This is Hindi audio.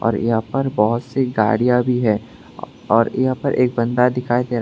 और यहां पर बहुत सी गाड़ियां भी है और यहां पर एक बंदा दिखाई दे रहा--